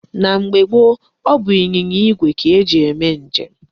Na mgbe gboo, ọ bụ ịnyịnya igwe ka e ji eme njem.